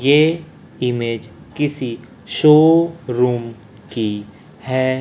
ये ईमेज किसी शोरूम की है।